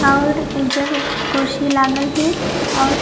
और एजक कुर्सी लगाल हिक और --